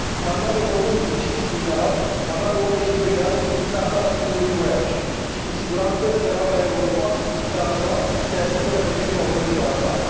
Marinarul român ucis, din Galați, avea 22 de ani și se afla la primul lui voiaj și, cu siguranță, spera ca Europa și țara sa să i asigure protecția, oriunde s ar afla.